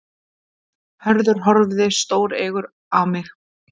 Hörður horfði stóreygur á mig.